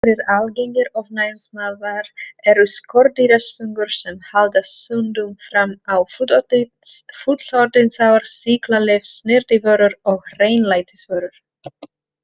Aðrir algengir ofnæmisvaldar eru skordýrastungur sem haldast stundum fram á fullorðinsár, sýklalyf, snyrtivörur og hreinlætisvörur.